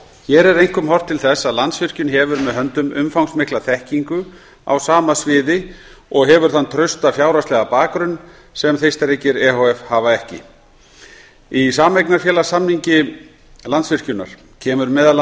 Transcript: hér er einkum horft til þess að landsvirkjun hefur með höndum umfangsmikla þekkingu á sama sviði og hefur þann trausta fjárhagslega bakgrunn sem þeistareykir e h f hafa ekki í sameignarfélagssamningi landsvirkjunar kemur meðal